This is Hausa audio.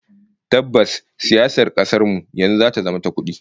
Tabbas, siyasar kasar mu yanzu ta zama ta kudi